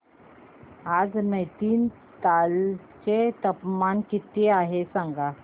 आज नैनीताल चे तापमान किती आहे सांगा